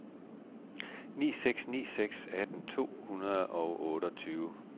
ni seks ni seks atten to hundrede og otteogtyve